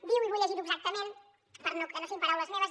diu i vull llegirho exactament perquè no siguin paraules meves